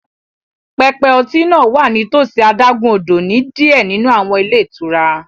Pẹpẹ ọtí náà wà nítòsí adágún-odò ní diẹ ninu awọn ilé itúrá